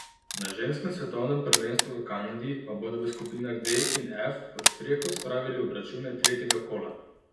Na ženskem svetovnem prvenstvu v Kanadi pa bodo v skupinah D in F pod streho spravili obračune tretjega kola.